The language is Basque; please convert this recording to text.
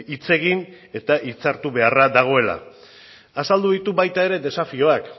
hitz egin eta hitzartu beharra dagoela azaldu ditu baita ere desafioak